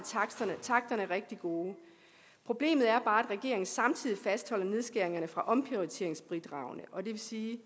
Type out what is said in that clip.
takterne rigtig gode problemet er bare regeringen samtidig fastholder nedskæringerne fra omprioriteringsbidragene og det vil sige